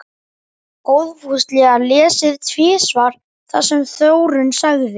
Góðfúslega lesið tvisvar það sem Þórunn sagði.